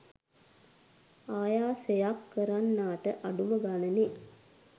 ආයාසයක් කරන්නාට අඩුම ගණනේ